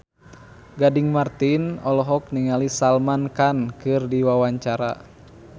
Gading Marten olohok ningali Salman Khan keur diwawancara